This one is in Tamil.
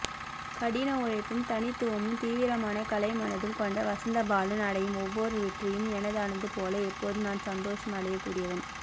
கடினஉழைப்பும் தனித்துவமும் தீவிரமான கலைமனதும் கொண்ட வசந்தபாலன் அடையும் ஒவ்வொரு வெற்றியும் எனதானது போல எப்போதும் நான் சந்தோஷம் அடையக்கூடியவன்